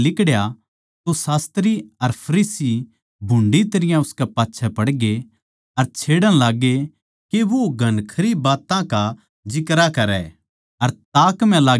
जिब वो उड़ै तै लिकड़या तो शास्त्री अर फरीसी भुण्डी तरियां उसकै पाच्छै पड़गे अर छेड़ण लाग्गे के वो घणखरी बात्तां का जिक्रा करै